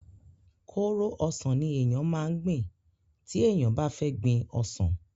kóró ọsàn ni èèyàn máa gbìn tí èèyàn bá fẹ́ gbin ọsàn